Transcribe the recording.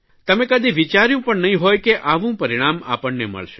તમે કદિ વિચાર્યું પણ નહીં હોય કે આવું પરિણામ આપણને મળશે